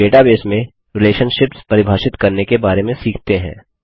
अब डेटाबेस में रिलेशनशिप्स परिभाषित करने के बारे में सीखते हैं